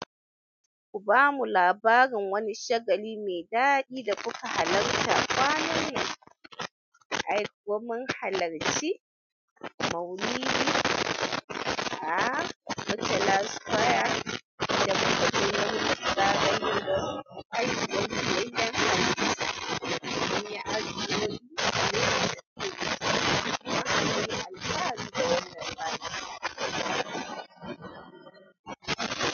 Ku ba mu labarin wani shagali mai daɗi da kuka halarta. Kwanan nan, ai gwamnin halarci maulidi a murtala square da mu akayi murnan zagayowar haihuwan fiyayyen halitta. Mun yi aski da mun daina tafiya, kuma mun yi alkawari da wannan baki.